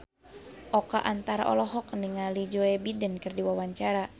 Oka Antara olohok ningali Joe Biden keur diwawancara